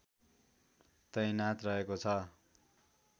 तैनाथ रहेको छ